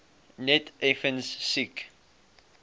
net effens siek